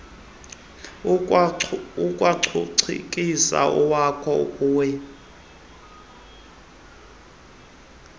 ikwangucikizwa owaya kueela